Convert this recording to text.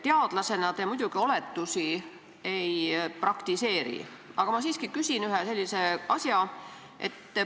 Teadlasena te muidugi oletusi ei praktiseeri, aga ma siiski küsin ühe sellise asja.